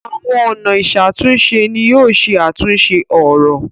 Awọn ọna iṣatunṣe ní yóò ṣe àtúnse òrò.